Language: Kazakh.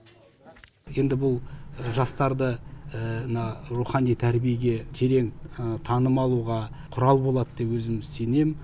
енді бұл жастарды мына рухани тәрбиеге терең таным алуға құрал болады деп өзім сенем